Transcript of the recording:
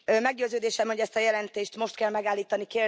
Meggyőződésem, hogy ezt a jelentést most kell megállítani.